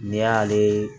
N'i y'ale